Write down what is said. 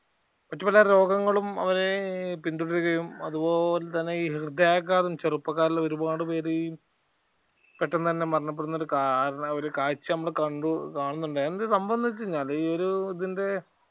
മറ്റുപല രോഗങ്ങളും അവരെ പിന്തുടരുകയും അതുപോലെതന്നെ ഈ ഹൃദയാഘാതം ചെറുപ്പകാലത്ത് ഒരുപാട് പേര് ഈ പെട്ടെന്ന് തന്നെ മരണപ്പെടുന്ന ഒരു കഒരു കാഴ്ച നമ്മള് കണ്ടു കാണുന്നുണ്ട് എന്തെന്ന് സംഭവം വച്ചു കഴിഞ്ഞാല് ഒരു ഇതിന്റെ